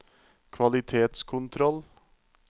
kvalitetskontroll